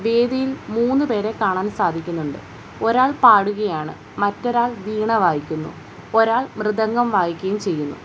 വേദിയിൽ മൂന്നു പേരെ കാണാൻ സാധിക്കുന്നുണ്ട് ഒരാൾ പാടുകയാണ് മറ്റൊരാൾ വീണ വായിക്കുന്നു ഒരാൾ മൃദംഗം വായിക്കുകയും ചെയ്യുന്നു.